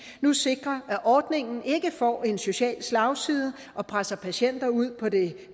nu sikrer at ordningen ikke får en social slagside og presser patienter ud på det